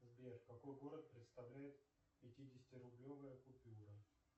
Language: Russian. сбер какой город представляет пятидесятирублевая купюра